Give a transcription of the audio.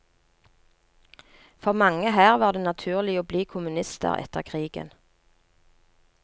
For mange her var det naturlig å bli kommunister etter krigen.